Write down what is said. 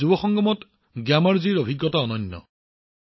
যুৱ সংগমত গ্যামাৰজীৰ অভিজ্ঞতা উৎকৃষ্ট আছিল